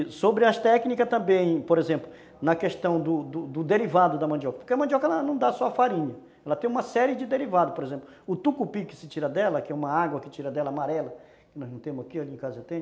E sobre as técnicas também, por exemplo, na questão do do derivado da mandioca, porque a mandioca ela não dá só farinha, ela tem uma série de derivados, por exemplo, o tucupi que se tira dela, que é uma água que se tira dela amarela, que nós não temos aqui, ali em casa já tem,